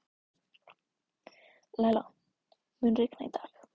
Læla, mun rigna í dag?